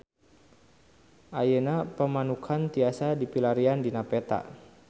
Ayeuna Pamanukan tiasa dipilarian dina peta